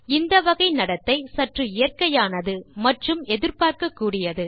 இந்த வகை நடத்தை சற்று இயற்கையானது மற்றும் எதிர்பார்க்கக்கூடியது